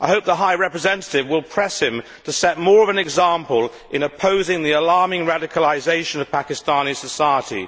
I hope the Vice President High Representative will press him to set more of an example in opposing the alarming radicalisation of Pakistani society.